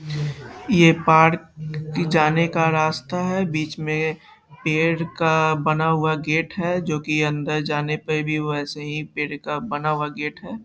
ये पार्क जाने का रास्‍ता है बीच में पेड़ का बना हुआ गेट है जो की अंदर जाने पे भी वैसे ही पेड़ का बना हुआ गेट है।